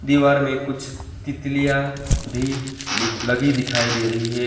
दीवार में कुछ तितलियां भी लगी दिखाई दे रही हैं।